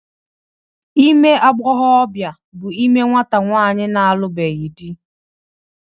Ime agbọghọbịa bụ ime nwata nwaanyị na-alụbeghị dị